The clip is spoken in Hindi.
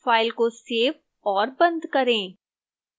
file को सेव और बंद करें